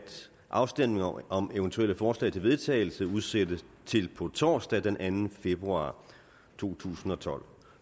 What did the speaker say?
afstemning om eventuelle forslag til vedtagelse udsættes til på torsdag den anden februar to tusind og tolv